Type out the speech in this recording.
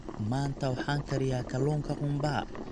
Maanta waxaan kariyaa kalluunka qumbaha.